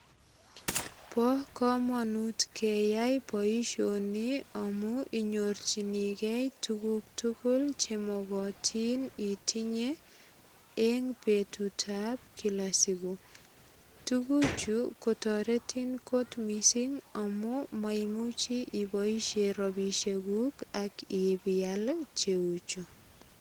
Bo kamanut keyai boisioni amu inyorchinigei tuguk tugul che mogotin otinye eng betutab kila siku. Tuguchu toretin kot mising amun maimuchi iboisie ropisiekuk ak ipial cheuchu.